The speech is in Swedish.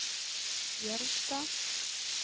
Gällstad